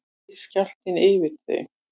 reið skjálftinn yfir þau